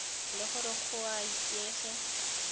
le gore go a itsege